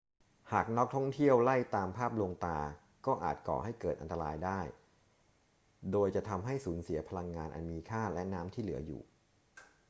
หากนักท่องเที่ยวไล่ตามภาพลวงตาก็อาจก่อให้เกิดอันตรายได้ โดยจะทำให้สูญเสียพลังงานอันมีค่าและน้ำที่เหลืออยู่